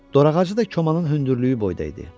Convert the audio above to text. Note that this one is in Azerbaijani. Dorağacı da komanın hündürlüyü boyda idi.